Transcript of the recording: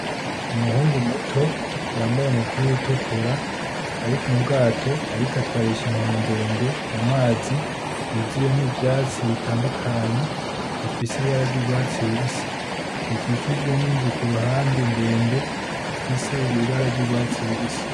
Umuhungu muto yambaye umupira utukura ari m'ubwato ariko atwarisha inkoni ndende mumazi yuzuyemwo ivyatsi bitadukanye bifise ibara ry'urwatsi rubisi bikijijwe n'inzu kuruhande ndende ifise ibara ry'urwatsi rubisi